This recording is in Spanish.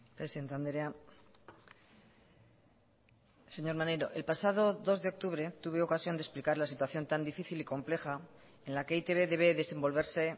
presidente andrea señor maneiro el pasado dos de octubre tuve ocasión de explicar la situación tan difícil y compleja en la que e i te be debe desenvolverse